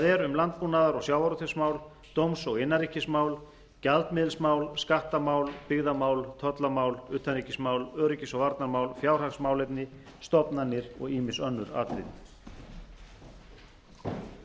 er um landbúnaðar og sjávarútvegsmál dóms og innanríkismál gjaldmiðilsmál skattamál byggðamál tollamál utanríkismál öryggis og varnarmál fjárhagsmálefni stofnanir og ýmis önnu